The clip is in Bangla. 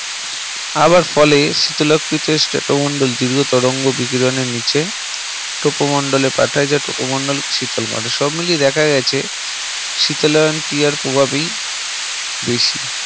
হাওয়া ফলে শীতলক্ষ Strato মন্ডল তরঙ্গ বিকিরণে নিচে Tropo মন্ডল এ পাঠায় যা Tropo মন্ডল শীতল করে সব মিলিয়ে দেখা গেছে শীতলায়ন ক্রিয়ার প্রভাবই বেশি